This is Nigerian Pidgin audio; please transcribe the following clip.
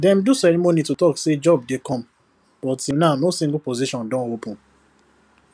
dem do ceremony to talk say job dey come but till now no single position don open